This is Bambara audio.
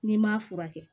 N'i m'a furakɛ